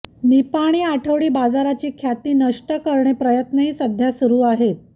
निपाणी आठवडी बाजाराची ख्याती नष्ट करणारे प्रयत्नही सध्या सुरू आहेत